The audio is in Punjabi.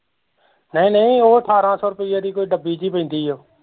ਨਹੀਂ ਨਹੀਂ ਉਹ ਠਾਰਾਂ ਸੋ ਰੁਪੀਏ ਦੀ ਕੋਈ ਡੱਬੀ ਜਹੀ ਪੈਂਦੀ ਓ